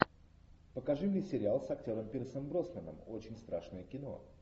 покажи мне сериал с актером пирсом броснаном очень страшное кино